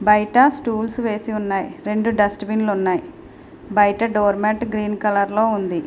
బయట స్టూల్స్ వేసి ఉన్నాయి. రెండు డస్ట్ బిన్ లు ఉన్నాయి. బయట డోర్ మేట్ గ్రీన్ కలర్ లో ఉంది.